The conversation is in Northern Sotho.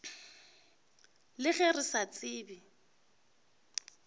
le ge re sa tsebe